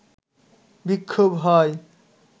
বিক্ষোভ হয়